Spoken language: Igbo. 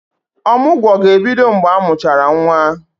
Ọmụgwọ ga-ebido mgbe amụchara nwa.